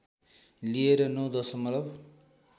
लिएर ९ दशमलव